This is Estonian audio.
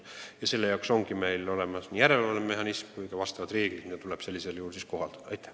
Ja selle jaoks ongi olemas nii järelevalvemehhanism kui ka reeglid, mida tuleb normide rikkumisel kohaldada.